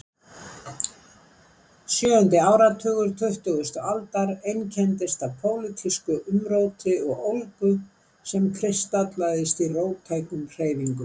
Sjöundi áratugur tuttugustu aldar einkenndist af pólitísku umróti og ólgu sem kristallaðist í róttækum hreyfingum.